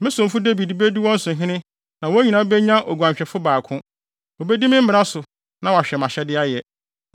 “ ‘Me somfo Dawid bedi wɔn so hene na wɔn nyinaa benya oguanhwɛfo baako. Wobedi me mmara so na wɔahwɛ mʼahyɛde ayɛ.